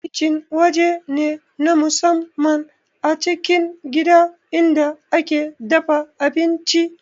Kicin waje ne na musamman a cikin gida inda ake dafa abinci